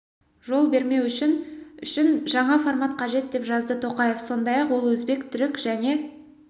жол бермеу үшін үшін жаңа формат қажет деп жазды тоқаев сондай-ақ ол өзбек түрік және